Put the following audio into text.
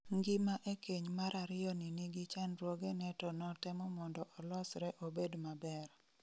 Ngima e keny marariyo ni nigi chandruoge ne to notemo mondo olosre obed maber